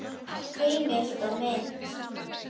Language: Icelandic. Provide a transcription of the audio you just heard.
Heimild og mynd